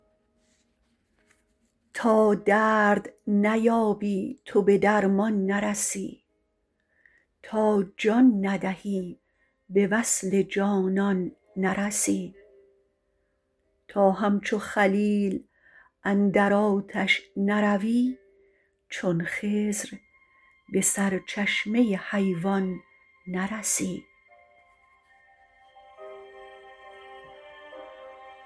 تا درد نیابی تو به درمان نرسی تا جان ندهی به وصل جانان نرسی تا همچو خلیل اندر آتش نروی چون خضر به سرچشمه حیوان نرسی